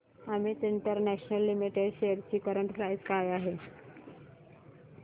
Amit international limited shares ची current price काय आहे